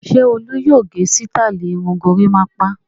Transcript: Ṣé Olú yóò gẹ sítáálì irun gorímápá?